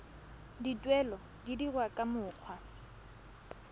dituelo di dirwa ka mokgwa